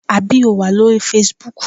Àbí o wà lórí facebook?